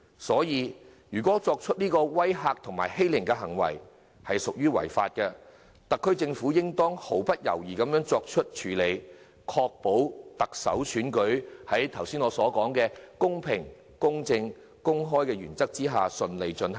因此，如果作出威嚇及欺凌的作為屬於違法，特區政府便應毫不猶疑的處理，確保特首選舉在我剛才所說的公平、公正、公開的原則下順利進行。